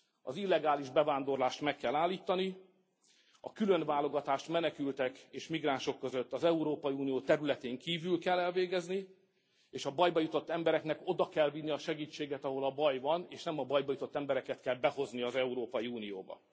Az illegális bevándorlást meg kell állítani, a különválogatást menekültek és migránsok között az Európai Unió területén kívül kell elvégezni, és a bajba jutott embereknek oda kell vinni a segítséget, ahol a baj van, és nem a bajba jutott embereket kell behozni az Európai Unióba.